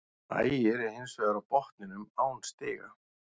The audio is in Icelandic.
Ægir er hins vegar á botninum án stiga.